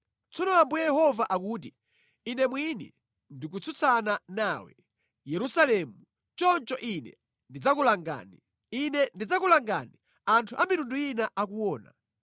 “Tsono Ambuye Yehova akuti: Ine mwini ndikutsutsana nawe, Yerusalemu, choncho Ine ndidzakulangani. Ine ndidzakulangani anthu a mitundu ina akuona.